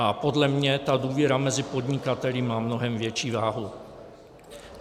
A podle mě ta důvěra mezi podnikateli má mnohem větší váhu.